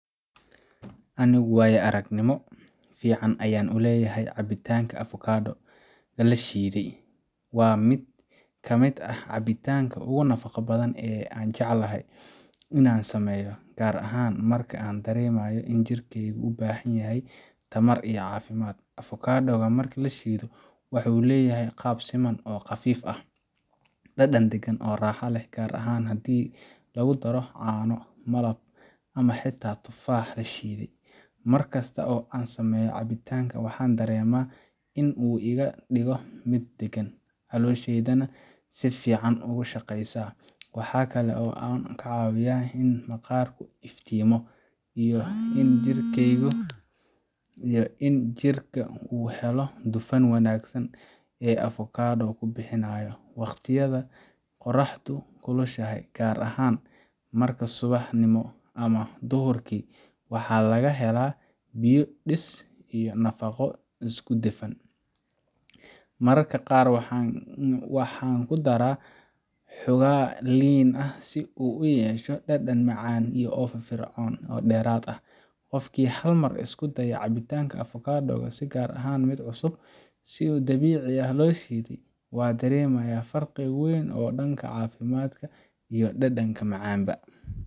Anigu waayo-aragnimo fiican ayaan u leeyahay cabitaanka avocado-ga la shiiday. Waa mid ka mid ah cabitaanada ugu nafaqo badan ee aan jeclahay inaan sameeyo, gaar ahaan marka aan dareemayo in jirkeygu u baahan yahay tamar iyo caafimaad. avocado gu marka la shiido waxa uu leeyahay qaab siman oo qafiif ah, dhadhan deggan oo raaxo leh, gaar ahaan haddii lagu daro caano, malab ama xitaa tufaax la shiiday. Markasta oo aan sameeyo cabitaankan, waxaan dareemaa in uu iga dhigo mid deggan, calooshaydana si fiican ugu shaqeysa. Waxaa kale oo uu caawiyaa in maqaarku iftiimo, iyo in jirka uu helo dufanka wanaagsan ee avocado gu bixinayo. Waqtiyada qorraxdu kulushahay, gaar ahaan subaxnimo ama duhurkii, waxaa laga helaa biyo dhis iyo nafaqo isku dhafan. Mararka qaar waxaan ku daraa xoogaa liin ah si uu u yeesho dhadhan macaan iyo firfircooni dheeraad ah. Qofkii hal mar isku daya cabitaanka avocado ga, si gaar ah mid cusub oo si dabiici ah loo shiiday, wuu dareemayaa farqi weyn oo dhanka caafimaadka iyo dhadhanka macan ba.